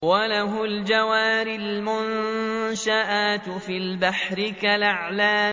وَلَهُ الْجَوَارِ الْمُنشَآتُ فِي الْبَحْرِ كَالْأَعْلَامِ